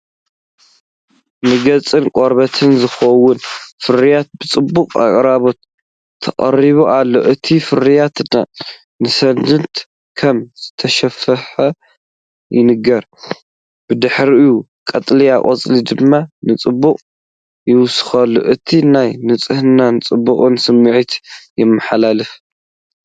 ንገጽን ቆርበትን ዝኸውን ፍርያት ብጽቡቕ ኣቀራርባ ተቐሪቡ ኣሎ። እቲ ፍርያት ንእስነት ከም ዘስፋሕፍሕ ይንገር፡ ብድሕሪኡ ቀጠልያ ቆጽሊ ድማ ንጽባቐኡ ይውስኸሉ። እቲ ናይ ንጽህናን ጽባቐን ስምዒት የመሓላልፍ።